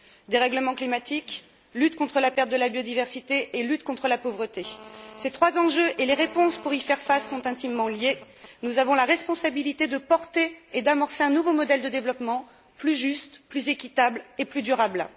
Dérèglement climatique, lutte contre la perte de la biodiversité et lutte contre la pauvreté ces trois enjeux et les réponses pour y faire face sont intimement liés. Nous avons la responsabilité de porter et d'amorcer un nouveau modèle de développement plus juste, plus équitable et plus durable.